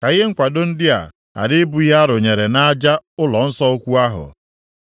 ka ihe nkwado ndị a ghara ịbụ ihe a rụnyere nʼaja ụlọnsọ ukwu ahụ.